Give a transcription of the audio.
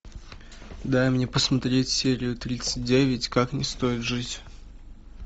дай мне посмотреть серию тридцать девять как не стоит жить